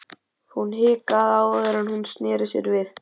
Hún hikaði áður en hún sneri sér við.